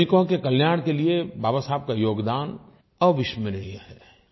श्रमिकों के कल्याण के लिये बाबा साहब का योगदान अविस्मरणीय है